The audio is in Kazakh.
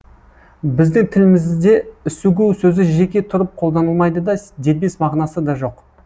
біздің тілімізде үсігу сөзі жеке тұрып қолданылмайды да дербес мағынасы да жоқ